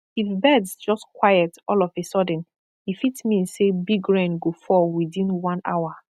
if birds just quiet all of a sudden e fit mean say big rain go fall within one hour